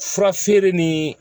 Fura feere ni